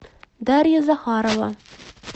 дарья захарова